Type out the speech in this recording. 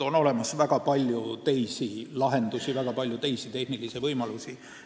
On olemas väga palju teisi lahendusi ja tehnilisi võimalusi.